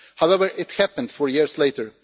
However, it happened four years later.